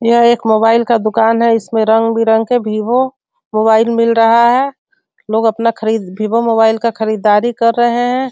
यह एक मोबाइल का दुकान है इसमें रंग-बिरंग के भीवो मोबाइल मिल रहा है लोग अपना खरीद भीवो मोबाइल का खरीदारी कर रहे हैं।